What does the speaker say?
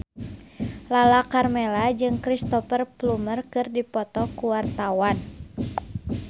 Lala Karmela jeung Cristhoper Plumer keur dipoto ku wartawan